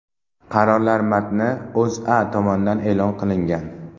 Qarorlar matni O‘zA tomonidan e’lon qilingan.